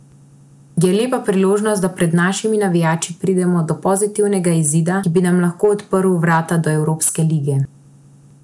Je lepa priložnost, da pred našimi navijači pridemo do pozitivnega izida, ki bi nam lahko odprl vrata do evropske lige.